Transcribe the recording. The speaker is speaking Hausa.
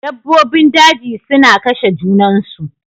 Dabbobin daji suna kashe junansu.